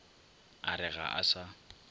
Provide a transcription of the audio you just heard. a re ga a sa